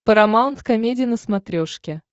парамаунт комеди на смотрешке